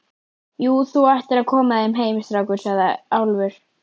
Já, þú ættir að koma þér heim, strákur, sagði Álfur.